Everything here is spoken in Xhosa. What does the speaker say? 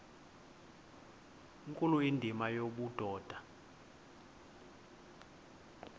nkulu indima yobudoda